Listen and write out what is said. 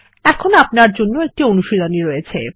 এখন আপনার জন্য একটি অনুশীলনী রয়েছে